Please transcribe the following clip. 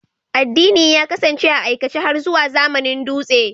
Addini gabaɗaya ya kasance a aikace har zuwa zamanin dutse.